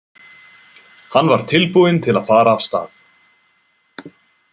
Hann var tilbúinn til að fara af stað.